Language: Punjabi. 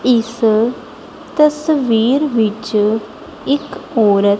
ਇਸ ਤਸਵੀਰ ਵਿੱਚ ਇੱਕ ਔਰਤ--